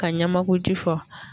Ka ɲamakuji fɔ